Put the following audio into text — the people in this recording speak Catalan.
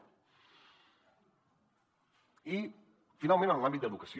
i finalment en l’àmbit d’educació